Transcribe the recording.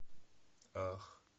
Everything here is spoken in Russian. ах